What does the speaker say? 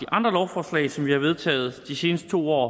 andre lovforslag som vi har vedtaget de seneste to år